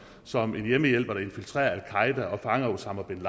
som en hjemmehjælper der infiltrerer al qaeda og fanger osama bin